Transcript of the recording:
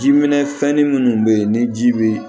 Ji minɛ fɛn ni minnu bɛ yen ni ji bɛ